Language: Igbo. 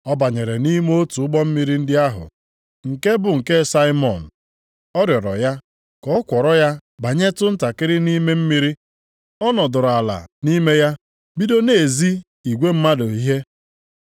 Ọ banyere nʼime otu ụgbọ mmiri ndị ahụ, nke bụ nke Saimọn, ọ rịọrọ ya ka ọ kwọrọ ya banyetụ ntakịrị nʼime mmiri. Ọ nọdụrụ ala nʼime ya bido na-ezi igwe mmadụ ihe.